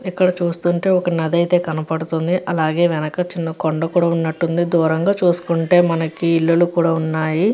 ఇక్కడ చూస్తుంటే ఒక నది అయితే కనబడుతుంది. అలాగే వెనక చిన్న కొండ కూడా ఉన్నట్టు ఉంది. దూరంగా చూసుకుంటే మనకి ఇల్లులు కూడా ఉన్నాయి.